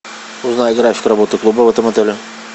узнай график работы клуба в этом отеле